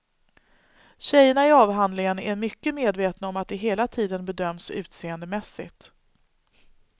Tjejerna i avhandlingen är mycket medvetna om att de hela tiden bedöms utseendemässigt.